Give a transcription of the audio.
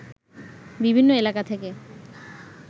বিভিন্ন এলাকা থেকে